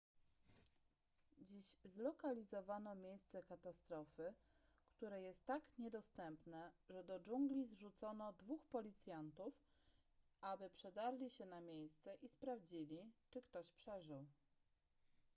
dziś zlokalizowano miejsce katastrofy które jest tak niedostępne że do dżungli zrzucono dwóch policjantów aby przedarli się na miejsce i sprawdzili czy ktoś przeżył